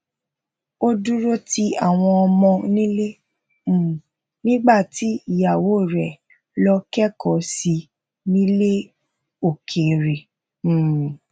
o duro ti awọn ọmọ nile um nígbà tí ìyàwó rè lọ kẹkọọ sí nílè òkèèrè um